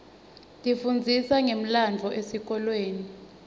tifundzisa ngemlandvo esikolweni